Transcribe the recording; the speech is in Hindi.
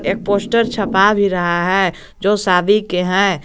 एक पोस्टर छपा भी रहा है जो शादी के हैं।